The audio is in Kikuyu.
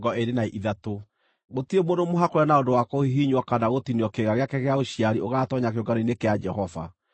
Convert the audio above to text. Gũtirĩ mũndũ mũhakũre na ũndũ wa kũhihinywo kana gũtinio kĩĩga gĩake gĩa ũciari ũgaatoonya kĩũngano-inĩ kĩa Jehova.